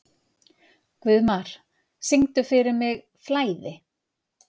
Guðmar, syngdu fyrir mig „Flæði“.